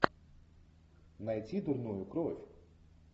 найти дурную кровь